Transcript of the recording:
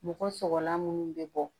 Mɔgɔ sɔgɔlan minnu bɛ bɔ